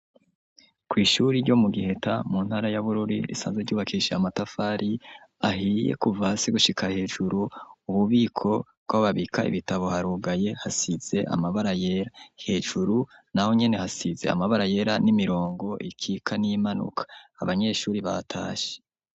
Kw'ishuri ryo mu Giheta mu ntara ya Bururi risanzwe ryubakishije amatafari ahiye, kuva hasi gushika hejuru. Ububiko bw'aho babika ibitabo, harugaye hasize amabara yera. Hejuru n'aho nyene hasize amabara yera n'imirongo ikika n'imanuka abanyeshuri batashe.